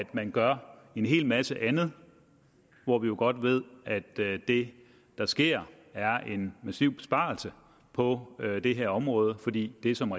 man gør en hel masse andet hvor vi jo godt ved at det der sker er en massiv besparelse på det her område fordi det som